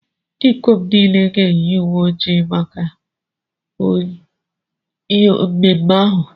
Ndị ikom niile ga-eyi uwe ojii ojii maka mmemme ahụ.